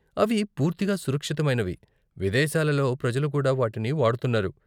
అవి పూర్తిగా సురక్షితమైనవి, విదేశాలలో ప్రజలు కూడా వాటిని వాడుతున్నారు.